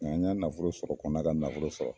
Nka an y'a nafolo sɔrɔ kɔn na ka nafolo sɔrɔ.